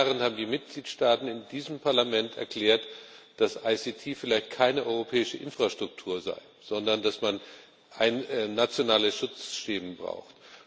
Vor zehn Jahren haben die Mitgliedstaaten in diesem Parlament erklärt, dass IKT vielleicht keine europäische Infrastruktur sei, sondern dass man nationale Schutzschemen braucht.